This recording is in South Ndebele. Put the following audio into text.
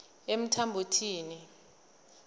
emthambothini